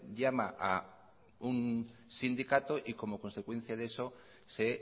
llama a un sindicato y como consecuencia de eso se